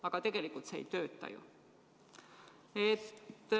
Aga tegelikult see ei tööta ju!